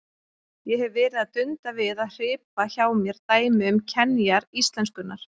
Ég hef verið að dunda við að hripa hjá mér dæmi um kenjar íslenskunnar.